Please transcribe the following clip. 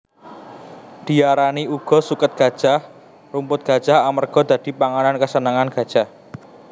Diarani uga suket gajah/Rumput Gajah amarga dadi pangan kesenange gajah